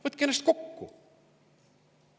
Võtke ennast kokku!